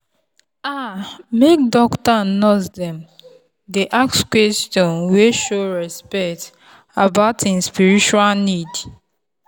ah make doctor and nurse dem dey ask question wey show respect about en spiritual need.